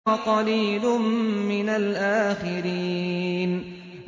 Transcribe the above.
وَقَلِيلٌ مِّنَ الْآخِرِينَ